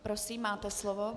Prosím, máte slovo.